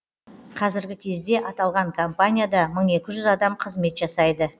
қазіргі кезде аталған компанияда мың екі жүз адам қызмет жасайды